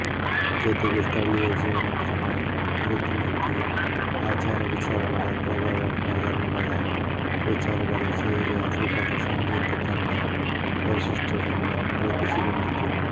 ಜೊತೆಗೆ ಸ್ಥಳೀಯ ಜೀವನಕ್ರಮ ರೀತಿನೀತಿ ಆಚಾರವಿಚಾರಗಳ ಪ್ರಭಾವ ಮನೋಧರ್ಮಗಳ ವಿಚಾರಗಳು ಸೇರಿ ಆಫ್ರಿಕದ ಸಂಗೀತ ತನ್ನ ವೈಶಿಷ್ಟ್ಯವನ್ನು ರೂಪಿಸಿಕೊಂಡಿತು